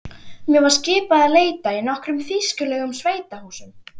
Mér var skipað að leita í nokkrum þýskulegum sveitahúsum.